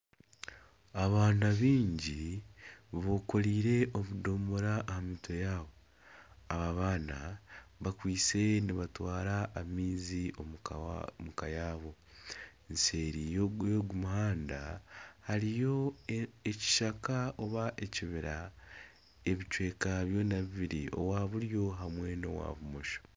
Abaana baingi bekoreire obudomora aha mutwe yaabo aba baana bakwaitse nibatwara amaizi omuka yaabo nseeri y'ogu muhanda hariyo ekishaka oba ekibira ebicweka byona bibiri owa buryo nana owa bumosho .